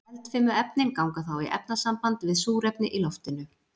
Eldfimu efnin ganga þá í efnasamband við súrefni í loftinu.